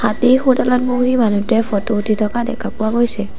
হাতীৰ শুঁৰডালত বহি মানুহটোৱে ফটো উঠি থকা দেখা পোৱা গৈছে।